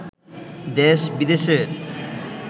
দেশ-বিদেশের